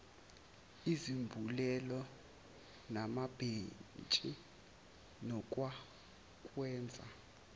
izambulela namabhentshi nokwakwenza